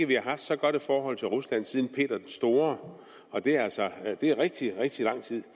vi har haft så godt et forhold til rusland siden peter den store og det er altså rigtig rigtig lang tid